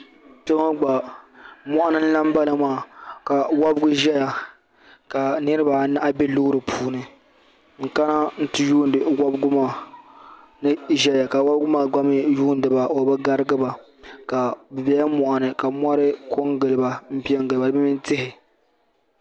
Kpe ŋɔ gba moɣu ni n lan bala maa ka wobigu ʒeya ka niribaanahi be loori puni n kana n ti yuuni wobigu maa ni ʒeya ka wobigu maa gba mi yuuni ba o bi garigi ba bɛ bela moɣu ni ka mori ko n gili ba di mini tihi.